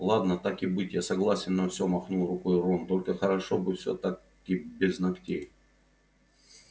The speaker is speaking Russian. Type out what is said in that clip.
ладно так и быть я согласен на все махнул рукой рон только хорошо бы всё-таки без ногтей